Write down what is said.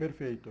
Perfeito.